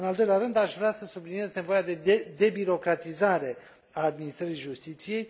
În al doilea rând, aș vrea să subliniez nevoia de debirocratizare a administrării justiției